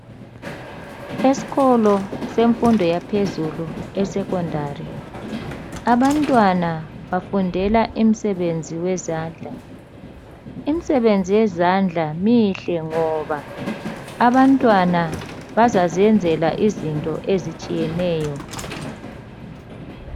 Esikolo semfundo yaphezulu esecondary. Abantwana bafundela imisebenzi wezandla. Imisebenzi yezandla mihle ngoba abantwana bazaziyenzela izinto ezitshiyeneyo.